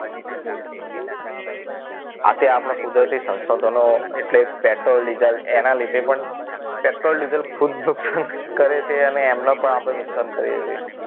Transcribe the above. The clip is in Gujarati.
આપણે આપણા કુદરતી સંસાધનો એટલે પેટ્રોલ ડીઝલ એના લીધે પણ પેટ્રોલ ડીઝલ ખૂબ જ નુકસાન કરે છે અને એમનો પણ આપણે નુકસાન કરીએ છીએ